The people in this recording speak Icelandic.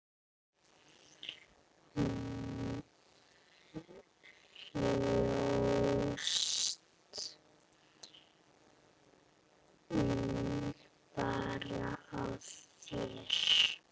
Þú hlóst bara að mér.